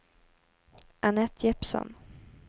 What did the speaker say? Anette Jeppsson